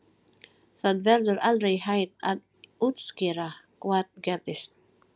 Það verður aldrei hægt að útskýra hvað gerðist.